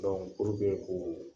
k'uu